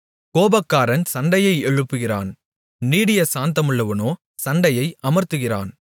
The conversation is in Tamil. கோபக்காரன் சண்டையை எழுப்புகிறான் நீடியசாந்தமுள்ளவனோ சண்டையை அமர்த்துகிறான்